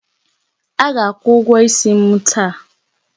A ga-akwụ ụgwọ isi m taa.